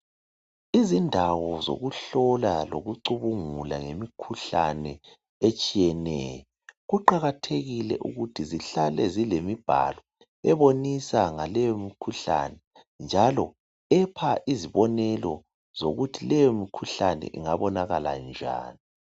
Izindawo zokuhlola lokucubungula ngemikhuhlane etshiyeneyo kuqakathekile ukuthi zihlale zilemibhalo ebonisa ngaleyo mikhuhlane njalo epha izibonelo zokuthi leyo mikhuhlane ingabonakala njani.